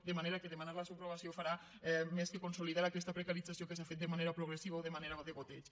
de manera que demanar la subrogació farà més que consolidar aquesta precarització que s’ha fet de manera progressiva o de manera de degoteig